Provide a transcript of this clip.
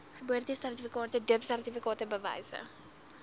geboortesertifikate doopsertifikate bewyse